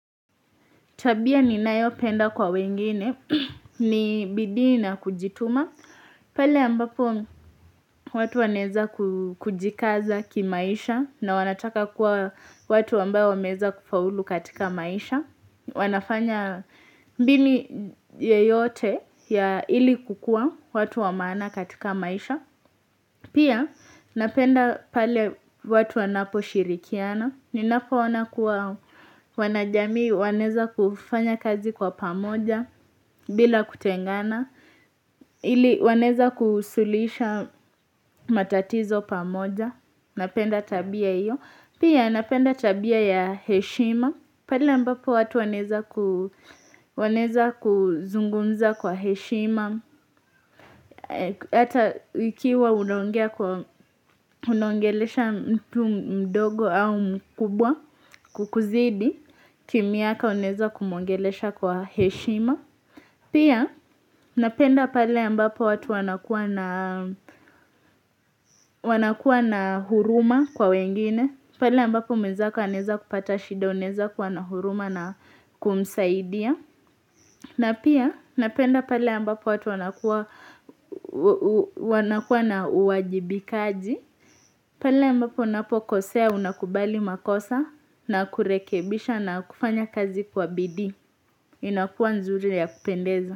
Tabia ninayopenda kwa wengine ni bidii na kujituma. Pale ambapo watu wanaeza kujikaza kimaisha na wanataka kuwa watu ambayo wameeza kufaulu katika maisha. Wanafanya mbinu yeyote ya ili kukua watu wa maana katika maisha. Pia napenda pale watu wanaposhirikiana. Ninapoona kuwa wanajamii, wanaeza kufanya kazi kwa pamoja bila kutengana, ili wanaeza kusuluisha matatizo pamoja, napenda tabia hiyo. Pia napenda tabia ya heshima, pale ambapo watu wanaeza kuzungumza kwa heshima, ata ikiwa unaongelesha mtu mdogo au mkubwa kukuzidi, kimiaka unaeza kumwongelesha kwa heshima. Pia napenda pale ambapo watu wanakuwa na huruma kwa wengine, pale ambapo mwenzako anaeza kupata shida, unaeza kuwa na huruma na kumsaidia. Na pia napenda pale ambapo watu wanakuwa na uwajibikaji, pale ambapo unapokosea unakubali makosa na kurekebisha na kufanya kazi kwa bidii. Inakua nzuri ya kupendeza.